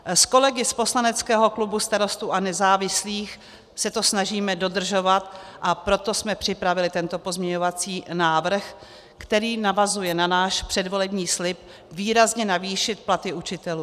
S kolegy z poslaneckého klubu Starostů a nezávislých se to snažíme dodržovat, a proto jsme připravili tento pozměňovací návrh, který navazuje na náš předvolební slib výrazně navýšit platy učitelů.